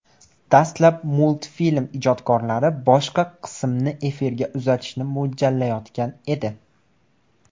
Dastlab multfilm ijodkorlari boshqa qismni efirga uzatishni mo‘ljallayotgan edi.